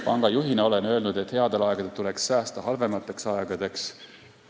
Pangajuhina olen öelnud, et headel aegadel tuleks säästa halvemateks aegadeks.